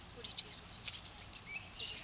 sars fa e le gore